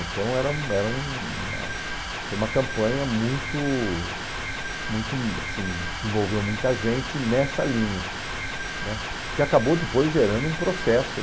Então, era um era uma foi uma campanha muito muito assim que envolveu muita gente nessa linha né, que acabou depois gerando um processo.